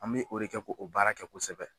An be o de kɛ k'o o baara kɛ kosɛbɛ